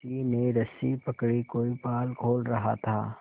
किसी ने रस्सी पकड़ी कोई पाल खोल रहा था